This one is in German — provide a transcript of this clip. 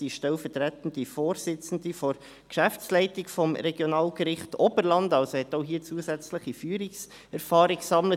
Sie ist stellvertretende Vorsitzende der Geschäftsleitung des Regionalgerichts Oberland, hat also hier zusätzliche Führungserfahrung gesammelt.